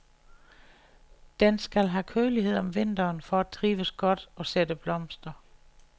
Den skal have kølighed om vinteren for at trives godt og sætte blomster.